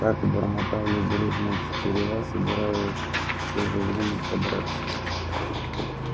так бормотали дружно тетерева собираясь в то же время подраться